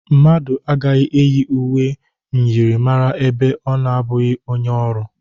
Mmadụ agaghị eyi uwe myịrịmara ebe ọ na-abụghị onye ọrụ.